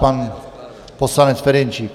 Pan poslanec Ferjenčík.